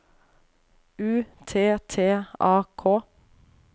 U T T A K